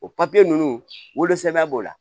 O papiye ninnu wolosɛbɛn b'o la